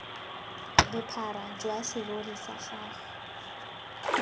bophara jwa serori sa gago